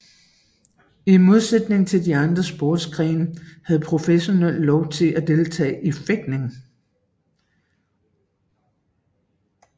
I modsætning til de andre sportsgrene havde professionelle lov til at deltage i fægtning